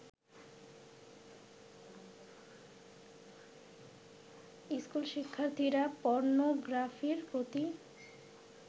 school শিক্ষার্থীরা পর্নোগ্রাফির প্রতি